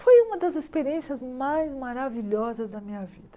Foi uma das experiências mais maravilhosas da minha vida.